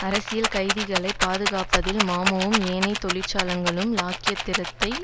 அரசியல் கைதிகளைப் பாதுகாப்பதில் மமுவும் ஏனைய தொழிற்சங்கங்களும் இலாயக்கற்றிருந்ததை